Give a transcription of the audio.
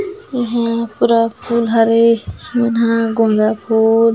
एहा पूरा फूल हवे एमन ह गोंदा फूल--